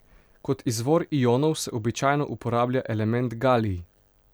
Kot izvor ionov se običajno uporablja element galij.